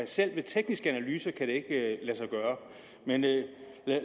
selv med tekniske analyser ikke kan lade sig gøre men